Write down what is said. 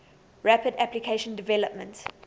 rapid application development